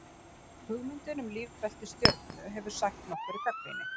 hugmyndin um lífbelti stjörnu hefur sætt nokkurri gagnrýni